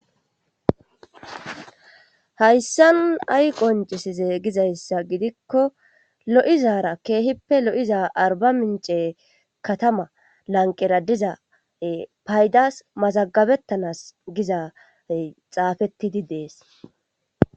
hayssan ay qoncisize gizayssa gidikko lo7izara keehippe lo7iza arbamince katama lanqera diza e paydas mazagabettanas giza ey xaafettidi dees